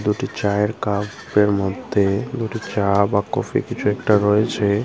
দুটি চায়ের কাপের মধ্যে দুটি চা বা কফি কিছু একটা রয়েছে।